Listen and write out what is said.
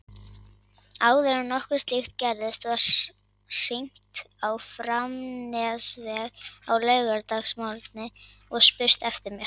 Áður en nokkuð slíkt gerðist var hringt á Framnesveg á laugardagsmorgni og spurt eftir mér.